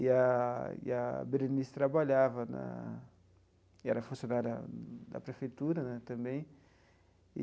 E a e a Berenice trabalhava na e era funcionária da prefeitura né também.